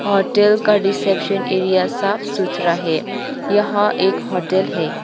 Hotel का reception area साफ सुथरा है यहां एक होटल है।